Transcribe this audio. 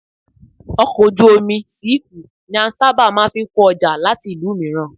Ọkọ̀ ojú omi ṣíìpù ní a sábà máa ń fi kó ọjà láti ìlú mìíràn